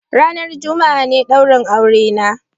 Ranan Juma'a ne daurin aurena.